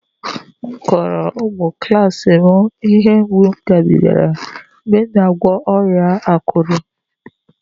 Mụ kọrọ ụmụ klas m ihe mgbu m gabigara mgbe m na-agwọ ọrịa akụrụ